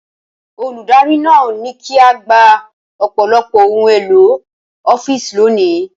Olùdarí náà ní kí á gba ọ̀pọ̀lọpọ̀ ohun èlò ọ́fíìsì lónìí.